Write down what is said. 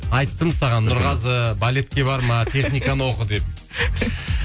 айттым саған нұрғазы балетке барма техниканы оқы деп